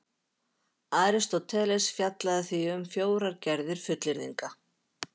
Aristóteles fjallaði því um fjórar gerðir fullyrðinga: